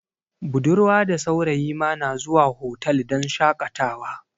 Budarwa da saurayi ma na zuwa hotal don shakatawa